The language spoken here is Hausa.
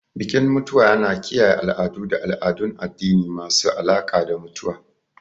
Bikin mutuwa yana kiyaye al'adu da al'adun addini masu alaƙa da mutuwa.